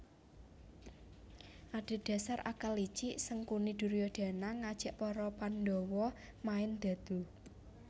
Adhedhasar akal licik Sangkuni Duryodana ngajak para Pandawa main dadu